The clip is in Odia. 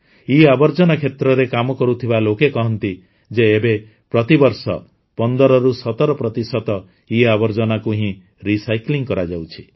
ଇଆବର୍ଜନା କ୍ଷେତ୍ରରେ କାମ କରୁଥିବା ଲୋକେ କହନ୍ତି ଯେ ଏବେ ପ୍ରତିବର୍ଷ କେବଳ ୧୫୧୭ ପ୍ରତିଶତ ଇଆବର୍ଜନାକୁ ହିଁ ରିସାଇକଲ୍ କରାଯାଉଛି